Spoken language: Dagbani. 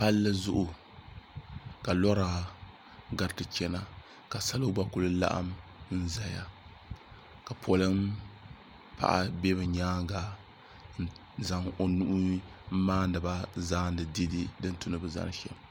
pali zuɣ' ka lora gatɛ chɛna ka so gba kuli laɣim n zaya ka polin paɣ' bɛ be nyɛŋa n zaŋ o nuuhi n maani ba zaani dɛdɛ din tu ni be zani shɛm